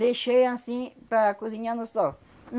Deixei anssim para cozinhar no sol.